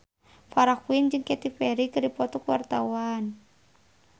Farah Quinn jeung Katy Perry keur dipoto ku wartawan